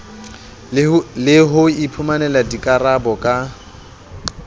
le ho iphumanela dikarabo ka